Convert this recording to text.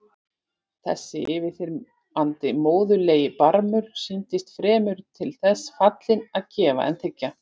Þessi yfirþyrmandi móðurlegi barmur sýndist fremur til þess fallinn að gefa en þiggja.